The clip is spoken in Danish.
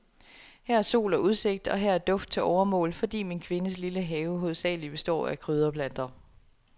Her er sol og udsigt, og her er duft til overmål, fordi min kvindes lille have hovedsagelig består af krydderplanter.